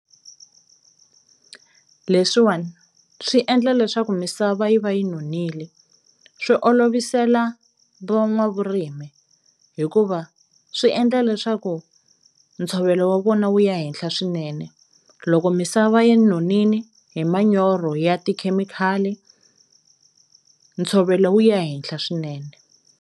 Leswiwani swi endla leswaku misava yi va yi nonile, swi olovisela van'wavurimi hikuva swi endla leswaku ntshovelo wa vona wu ya henhla swinene, loko misava yi nonini hi manyoro ya tikhemikhali ntshovelo wu ya henhla swinene.